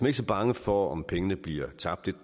ikke så bange for om pengene bliver tabt